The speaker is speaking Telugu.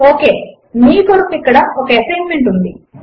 ఒకే మీ కొరకు ఇక్కడ ఒక ఎసైన్మెంట్ ఉన్నది